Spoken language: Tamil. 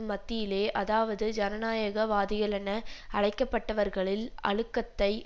மத்தியிலே அதாவது ஜனநாயக வாதிகளென அழைக்கப்பட்டவர்களில் அழுக்கத்தை